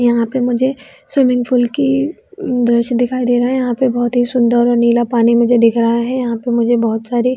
यहाँ पे मुझे स्विमिंग पूल की दृश्य दिखाई दे रहा है यहाँ पे बहोत ही सुन्दर और नीला पानी दिख रहा है यहाँ पे मुझे बहोत सारे--